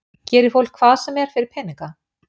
Gerir fólk hvað sem er fyrir peninga?